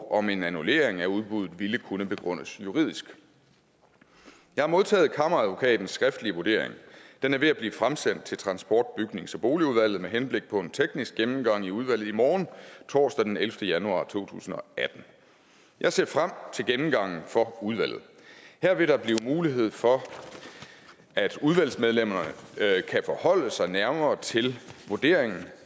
og om en annullering af udbuddet ville kunne begrundes juridisk jeg har modtaget kammeradvokatens skriftlige vurdering den er ved at blive fremsendt til transport bygnings og boligudvalget med henblik på en teknisk gennemgang i udvalget i morgen torsdag den ellevte januar to tusind og atten jeg ser frem til gennemgangen for udvalget her vil der blive mulighed for at udvalgsmedlemmerne kan forholde sig nærmere til vurderingen